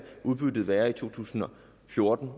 være i to tusind og fjorten